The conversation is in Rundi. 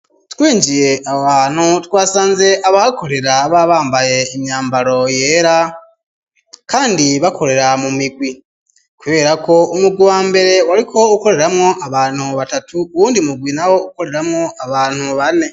Twinjiye aho hantu, twasanze abahakorera, baba bambaye imyambaro yera, kandi bakorera mu migwi; kubera ko, umugwi wa mbere, wariko ukoreramwo, abantu batatu, uwundi mugwi nawo, ukoreramwo abantu bane.